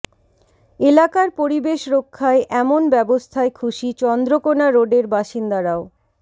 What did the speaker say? এলাকার পরিবেশ রক্ষায় এমন ব্যবস্থায় খুশি চন্দ্রকোনা রোডের বাসিন্দারাও